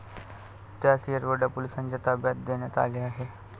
त्यास येरवडा पोलिसांच्या ताब्यात देण्यात आले आहे.